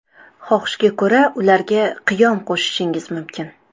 Xohishga ko‘ra, ularga qiyom qo‘shishingiz mumkin.